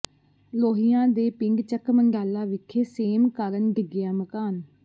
ਲੋਹੀਆਂ ਦੇ ਪਿੰਡ ਚੱਕ ਮੰਢਾਲਾ ਵਿਖੇ ਸੇਮ ਕਾਰਨ ਡਿੱਗਿਆ ਮਕਾਨ